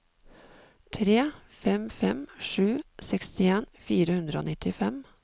tre fem fem sju sekstien fire hundre og nittifem